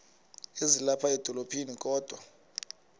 ezilapha edolophini kodwa